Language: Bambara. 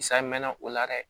Sa mɛnna o la dɛ